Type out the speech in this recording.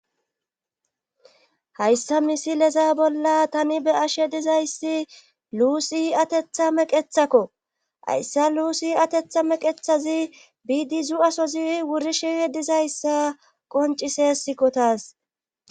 hayssa misileza bolla tani be ashe dizayssi luusi atetha meqethakko hayssa luusi atetha meqethazi biidi zu7asozi wurisheh dizayssa qoncise sikkotaas